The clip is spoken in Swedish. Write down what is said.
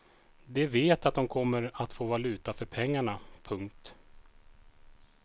De vet att de kommer att få valuta för pengarna. punkt